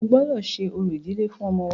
O gbọ́dọ ṣe orò ìdílé fún ọmọ wa!